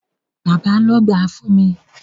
Bàbá ló gbáà fún mi.